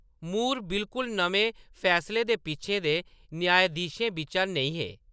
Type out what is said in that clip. मूर बिलकुल नमें फैसलें दे पिच्छें दे न्यायाधीशें बिच्चा नेईं हे।